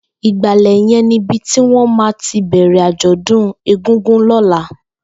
Ìgbàlẹ̀ yèn nibi tiwọn mà ti bẹrẹ ájọ̀dún égúngún lọ̀lá